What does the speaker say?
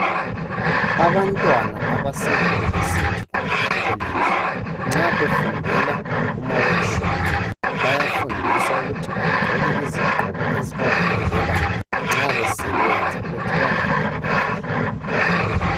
Abantwana abase university kumbe ecollege nxa befundela kuma work shop bayafundiswa ukuthi baqoke iziqoko ezibavikelayo nxa besebenza ukuthi bangalimali.